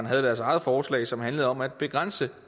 havde deres eget forslag som handlede om at begrænse